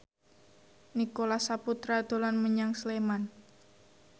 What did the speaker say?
Nicholas Saputra dolan menyang Sleman